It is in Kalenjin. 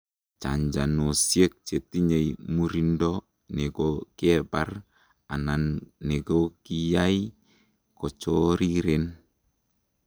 chanchanosiek kotinyei murindo nekokebar anan nekokiyai kochoriren